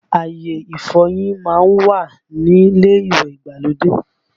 Àyè ìfọyín má ń wà ní ilé ìwẹ̀ ìgbàlódé